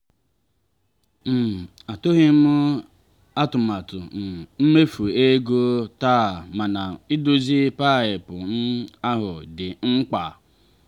um atụghị m atụmatụ um imefu ego taa mana idozi paịpụ um ahụ dị mkpa.